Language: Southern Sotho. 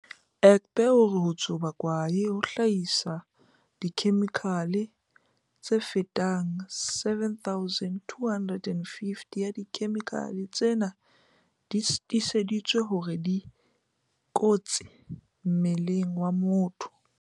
Egbe o re ho tsuba kwae ho hlahisa dikhe-mikhale tse fetang 7 000, 250 ya dikhemikhale tsena di tiiseditswe hore di kotsi mmeleng wa motho.